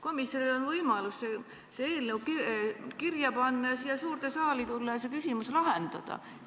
Komisjonil on võimalus see eelnõu kirja panna, siia suurde saali tulla ja see küsimus lahendada.